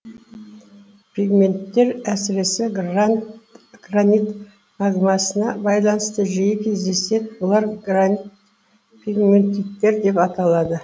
пегменттер әсіресе гранит магмасына байланысты жиі кездеседі бұлар гранит пегметиттер деп аталады